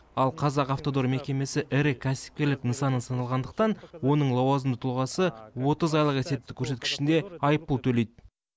ал қазақавтодор мекемесі ірі кәсіпкерлік нысаны саналғандықтан оның лауазымды тұлғасы отыз айлық есептік көрсеткішінде айыппұл төлейді